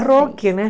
Rock, né?